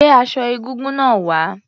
Gbé aṣọ egúngún náà wá.